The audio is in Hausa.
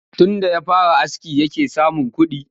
Tunda ya fara aski yake samun kuɗi